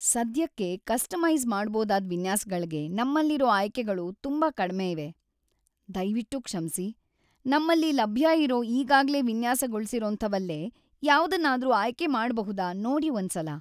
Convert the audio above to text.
ಸದ್ಯಕ್ಕೆ ಕಸ್ಟಮೈಸ್ ಮಾಡ್ಬೋದಾದ್ ವಿನ್ಯಾಸಗಳ್ಗೆ ನಮ್ಮಲ್ಲಿರೋ ಆಯ್ಕೆಗಳು ತುಂಬಾ ಕಡ್ಮೆ ಇವೆ. ದಯ್ವಿಟ್ಟು ಕ್ಷಮ್ಸಿ. ನಮ್ಮಲ್ಲಿ ಲಭ್ಯ ಇರೋ ಈಗಾಗ್ಲೇ ವಿನ್ಯಾಸಗೊಳ್ಸಿರೋಂಥವಲ್ಲೇ ಯಾವ್ದನ್ನಾದ್ರೂ ಆಯ್ಕೆ ಮಾಡ್ಬಹುದಾ ನೋಡಿ ಒಂದ್ಸಲ.